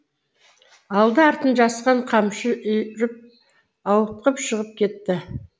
алды артын жасқан қамшы үйіріп ауытқып шығып кетті